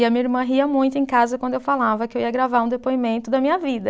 E a minha irmã ria muito em casa quando eu falava que eu ia gravar um depoimento da minha vida.